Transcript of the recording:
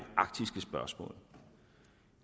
arktiske spørgsmål